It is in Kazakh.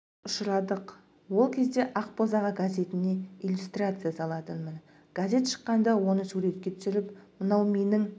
ұшырадық ол кезде ақ босаға газетіне иллюстрация салатынмын газет шыққанда оны суретке түсіріп мынау менің